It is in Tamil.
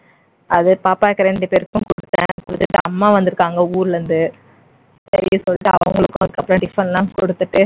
அத பாப்பாக்கு ரெண்டு பேருக்கும் கொடுத்தேன். கொடுத்துட்டு அம்மா வந்திருக்காங்க ஊர்ல இருந்து சரின்னு சொல்லிட்டு அவங்களுக்கும் அதுக்கப்பறம் டிபன் லாம் கொடுத்துட்டு